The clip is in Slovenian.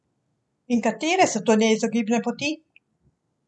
In katere so te neizogibne poti?